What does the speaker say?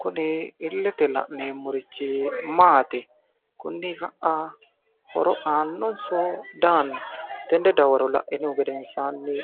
Kuni illete la'neemmorichi maati? Kuni ka'a horo aannnso di aanno? Tene dawaro la'inihu gedenisani